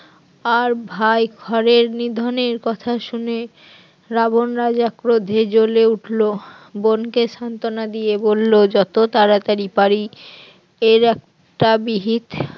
আর ভাই খড় এর নিধনের কথা শুনে রাবণ রাজা ক্রোধে জ্বলে উঠলো, বোনকে সান্ত্বনা দিয়ে বলল যত তাড়াতাড়ি পারি এর একটা বিহিত